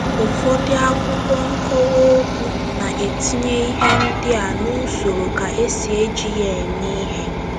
Ụfọdụ akwụkwọ nkowa okwu na-etinye ihe ndị a n’usoro ka esi eji ya eme ihe.